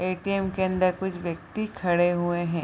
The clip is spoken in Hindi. ए.टी.एम. के अंदर कुछ व्यक्ति खड़े हुए है।